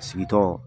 Sigitɔ